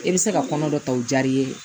E bɛ se ka kɔnɔ dɔ ta o diyar'i ye